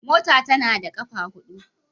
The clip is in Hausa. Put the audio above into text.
Mota tAnada kafa hudu